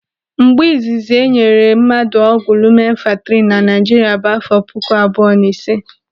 Mgbe izizi enyere mmadụ ọgwụ lumenfantrinu na Naijiria bụ àfọ puku abụọ na ịse.